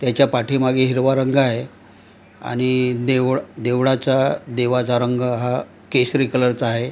त्याच्या पाठीमागे हिरवा रंग आहे आणि देवळ देवळाचा देवाचा रंग हा केशरी कलर चा आहे.